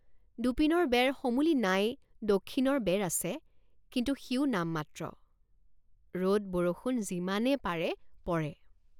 দুপিনৰ বেৰ সমূলি নাই দখিণৰ বেৰ আছে কিন্তু সিও নামমাত্ৰ ৰদবৰষুণ যিমানে পাৰে পৰে।